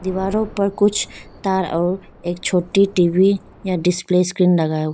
दीवारों पर कुछ तार और एक छोटी टी_वी या डिस्प्ले स्क्रीन लगा हुआ--